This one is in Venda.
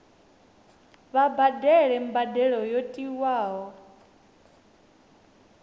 vha badele mbadelo yo tiwaho